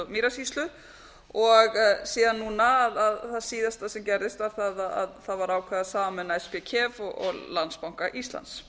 mýrasýslu og síðan núna það síðasta sem gerðist var það að það var ákveðið að sameina spkef og landsbanka íslands